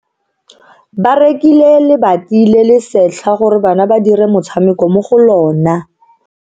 Ba rekile lebati le le setlha gore bana ba dire motshameko mo go lona.